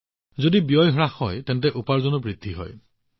যিহেতু ব্যয় হ্ৰাস পাইছে উপাৰ্জনো বৃদ্ধি হৈছে